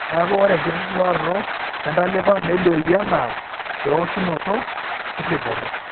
Neaku, ore enkituraroto entalipa nelioyu anaa eoshunoto eripoto.